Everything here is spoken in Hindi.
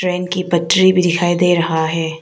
ट्रेन की पटरी भी दिखाई दे रहा है।